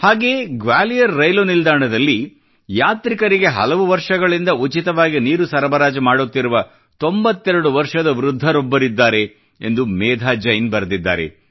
ಹಾಗೆಯೇ ಗ್ವಾಲಿಯರ್ ರೈಲು ನಿಲ್ದಾಣದಲ್ಲಿ ಯಾತ್ರಿಕರಿಗೆ ಹಲವು ವರ್ಷಗಳಿಂದ ಉಚಿತವಾಗಿ ನೀರು ಸರಬರಾಜು ಮಾಡುತ್ತಿರುವ 92 ವರ್ಷದ ವೃದ್ಧರೊಬ್ಬರಿದ್ದಾರೆ ಎಂದು ಮೇಧಾ ಜೈನ್ ಬರೆದಿದ್ದಾರೆ